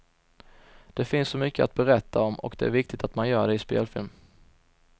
Det finns så mycket att berätta om och det är viktigt att man gör det i spelfilm.